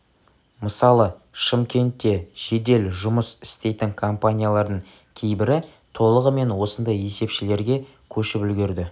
мысалы шымкентте жедел жұмыс істейтін компаниялардың кейбірі толығымен осындай есепшілерге көшіп үлгерді